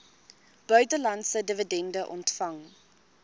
buitelandse dividende ontvang